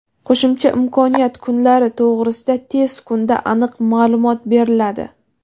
Qo‘shimcha imkoniyat (kunlari) to‘g‘risida tez kunda aniq ma’lumot beriladi.